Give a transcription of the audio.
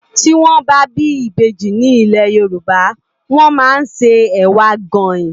Ti wòn bâ bi ibéji ni ilé Yoruba wòn má n sé èwá gáin